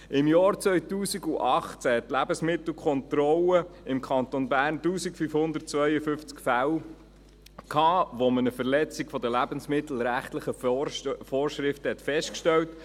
Im Jahr 2018 hat die Lebensmittelkontrolle im Kanton Bern in 1552 Fällen eine Verletzung der lebensmittelrechtlichen Vorschriften festgestellt.